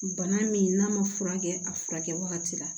Bana min n'a ma furakɛ a furakɛ wagati la